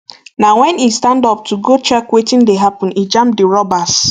na wen e stand up to go check um wetin dey happun e jam di robbers